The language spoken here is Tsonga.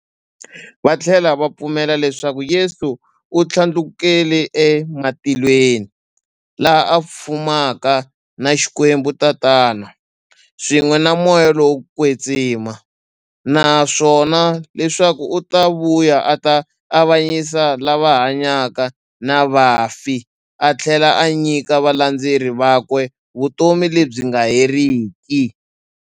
Vathlela va pfumela leswaku Yesu u thlandlukele e matilweni, laha a fumaka na Xikwembu-Tatana, swin'we na Moya lowo kwetsima, naswona leswaku u ta vuya a ta avanyisa lava hanyaka na vafi athlela a nyika valandzeri vakwe vutomi lebyi nga heriki.